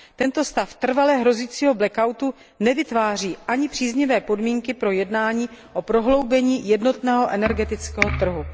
Tento stav trvale hrozícího nevytváří ani příznivé podmínky pro jednání o prohloubení jednotného energetického trhu.